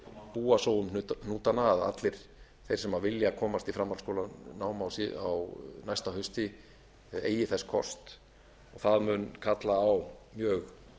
búa svo um hnútana að allir þeir sem vilja komast í framhaldsskólanám á næsta hausti eigi þess kost það mun kalla á mjög